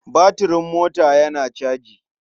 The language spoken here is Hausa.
Batiring mota yana caji.